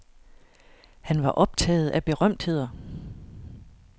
Han var optaget af berømtheder.